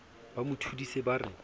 ba mo thodise ba re